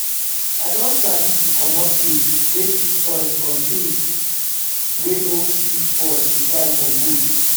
i don sabi to commot things wey fit spoil from tins from tins wey no fit spoil before i compost